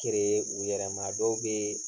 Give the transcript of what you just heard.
u yɛrɛ ma, a dɔw bee